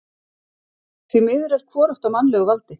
Því miður er hvorugt á mannlegu valdi.